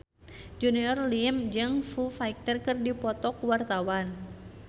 Junior Liem jeung Foo Fighter keur dipoto ku wartawan